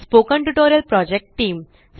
spoken tutorial project team